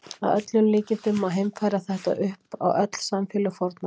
Að öllum líkindum má heimfæra þetta upp á öll samfélög fornaldar.